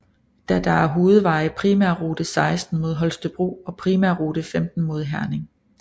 Da der er hovedveje primærrute 16 mod Holstebro og primærrute 15 mod Herning